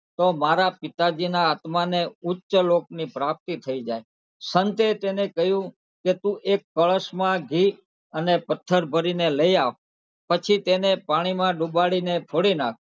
તો મારા પિતાજીના આત્માને ઉચ્ચ લોકની પ્રાપ્તિ થઇ જાય સંતે તેને કહ્યું કે તું એક કળશમાં ઘી અને પથ્થર ભરીને લઇ આવ પછી તેને પાણીમાં ડુબાડીને ફોડી નાખ.